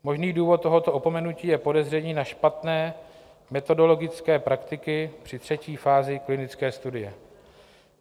Možný důvod tohoto opomenutí je podezření na špatné metodologické praktiky při třetí fázi klinické studie.